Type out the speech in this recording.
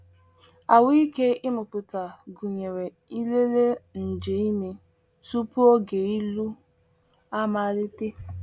Ahụ́ike ịmụpụta gụnyere ịlele nje ime tupu oge ịlụ amalite.